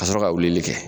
Ka sɔrɔ ka wulili kɛ